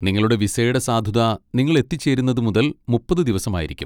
നിങ്ങളുടെ വിസയുടെ സാധുത നിങ്ങൾ എത്തിച്ചേരുന്നത് മുതൽ മുപ്പത് ദിവസമായിരിക്കും.